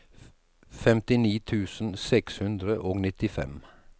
femtini tusen seks hundre og nittifem